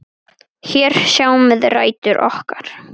Hér sjáum við rætur okkar.